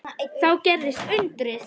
Og þá gerðist undrið.